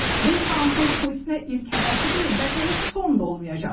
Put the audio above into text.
Bu Trampın Putinə ilk hədəsi deyil, bəlkə heç son da olmayacaq.